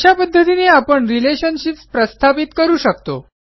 अशा पध्दतीने आपण रिलेशनशिप्स प्रस्थापित करू शकतो